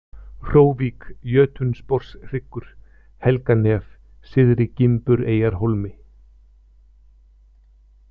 Hróvík, Jötunsporshryggur, Helganef, Syðri-Gimbureyjarhólmi